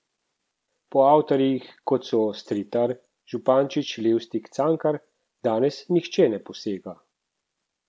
Po avtorjih, kot so Stritar, Župančič, Levstik, Cankar, danes nihče ne posega.